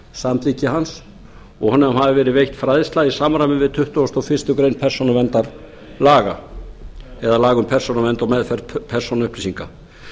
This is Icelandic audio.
samþykki hans og honum hafi verið veitt fræðsla í samræmi við tuttugustu og fyrstu grein persónuverndarlaga eða laga um persónuvernd og meðferð persónuupplýsinga